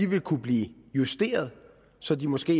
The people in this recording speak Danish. vil kunne blive justeret så de måske